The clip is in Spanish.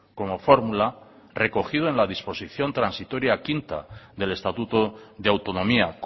como fórmula recogido en la disposición transitoria quinta del estatuto de autonomía